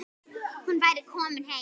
Hún væri komin heim.